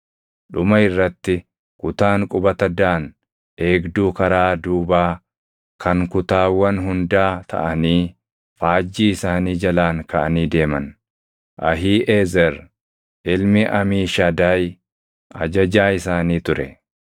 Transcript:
Dhuma irratti kutaan qubata Daan eegduu karaa duubaa kan kutaawwan hundaa taʼanii faajjii isaanii jalaan kaʼanii deeman. Ahiiʼezer ilmi Amiishadaay ajajaa isaanii ture.